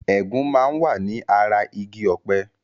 Ẹ̀gún máa ń wà ní ara igi ọpẹ